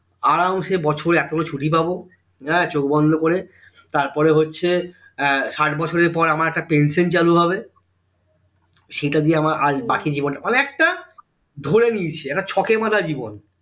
আরামসে বছরে এতগুলো ছুটি পাব আহ চোখ বন্ধ করে তারপরে হচ্ছে আহ ষাইট বছরের পর একটা আমার পেনশন চালু হবে সেটা দিয়ে আজ আমার বাকি জীবনটা অনেকটা ধরে নিয়েছি শকের মত জীবন